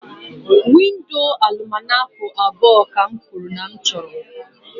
Windo Alụmaco abụọ ka m kwuru na m chọrọ